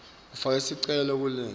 ufaka sicelo ukulelinye